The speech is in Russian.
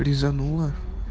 резануло